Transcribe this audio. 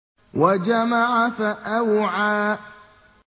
وَجَمَعَ فَأَوْعَىٰ